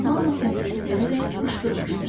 Hamı səssəsə verərək qışqırmışdı: